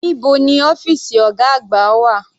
Níbo ni ọ́fìsì ọ̀gá àgbà wà?